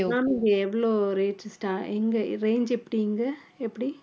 ma'am இங்க எவ்ளோ rate sta~ இங்க range எப்படி இங்க எப்படி